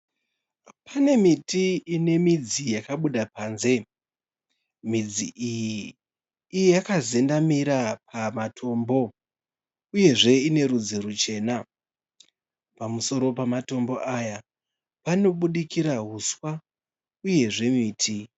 Pane miti ine midzi yakabuda panze. Midzi iyi yakazendamira pamatombo uyezve ine rudzi ruchena. Pamusoro pamatombo aya panobudikira huswa uyezve miti.